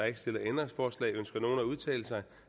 ikke stillet ændringsforslag ønsker nogen at udtale sig